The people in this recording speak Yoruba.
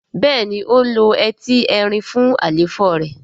béèni o ló Ẹti Ẹrin fún àléfọ rẹ.